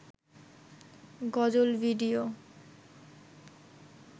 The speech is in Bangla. গজল ভিডিও